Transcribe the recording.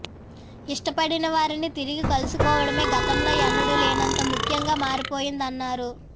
ఇష్టపడిన వారిని తిరిగి కలుసుకోవడమే గతంలో ఎన్నడూ లేనం త ముఖ్యంగా మారిపోయిందన్నారు